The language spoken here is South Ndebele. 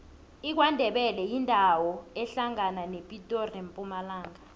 ikwandebele yindawo ehlangana nepitori nempumalanga